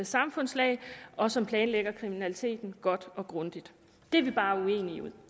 samfundslag og som planlægger kriminaliteten godt og grundigt det er vi bare uenige